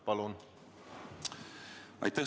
Palun!